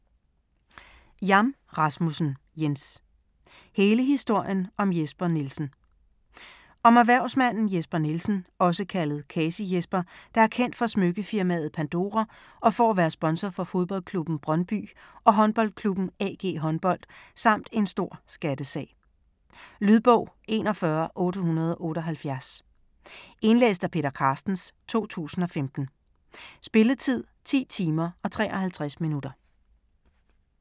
Jam Rasmussen, Jens: Kasi: hele historien om Jesper Nielsen Om erhvervsmanden Jesper Nielsen (f. 1969), også kaldet Kasi-Jesper, der er kendt for smykkefirmaet Pandora og for at være sponsor for fodboldklubben Brøndby og håndboldklubben AG Håndbold, samt en stor skattesag. Lydbog 41878 Indlæst af Peter Carstens, 2015. Spilletid: 10 timer, 53 minutter.